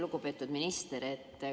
Lugupeetud minister!